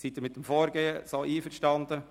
Sind Sie mit diesem Vorgehen so einverstanden?